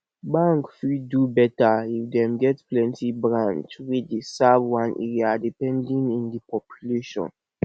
bank fit do better if dem get plenty branch wey dey serve one area depending in di population